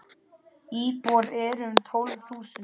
Íbúar eru um tólf þúsund.